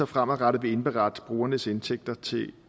fremadrettet vil indberette brugernes indtægter til